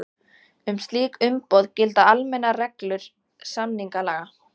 Um slík umboð gilda almennar reglur samningalaga.